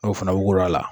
N'o fana wugula